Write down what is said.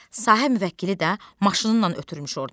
Sahə müvəkkili də maşını ilə ötürmüş ordan.